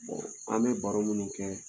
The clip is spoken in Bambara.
an bɛ baro minnu kɛ